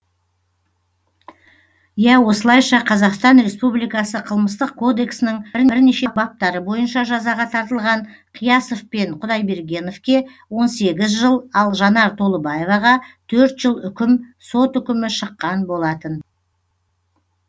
иә осылайша қазақстан республикасы қылмыстық кодексінің бірнеше баптары бойынша жазаға тартылған қиясов пен құдайбергеновке он сегіз жыл ал жанар толыбаевға төрт жыл үкім сот үкімі шыққан болатын